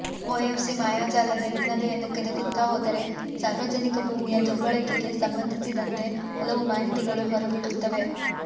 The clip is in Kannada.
ಒಎಫ್ಸಿ ಮಾಯಾಜಾಲದ ಹಿನ್ನೆಲೆಯನ್ನು ಕೆದಕುತ್ತಾ ಹೋದರೆ ಸಾರ್ವಜನಿಕ ಭೂಮಿಯ ದುರ್ಬಳಕೆಗೆ ಸಂಬಂಧಿಸಿದಂತೆ ಹಲವು ಮಾಹಿತಿಗಳು ಹೊರಬೀಳುತ್ತವೆ